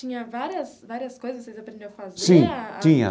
Tinha várias várias coisas que vocês aprendiam a fazer. Sim, tinha.